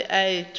a a be a tšhoša